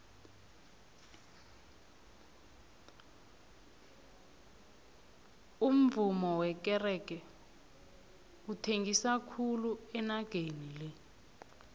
umuvummo wekerege uthengisa khulu enageni le